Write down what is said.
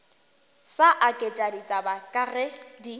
sa aketše ditaba ke di